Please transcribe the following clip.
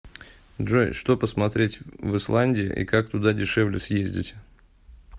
джой что посмотреть в исландии и как туда дешевле съездить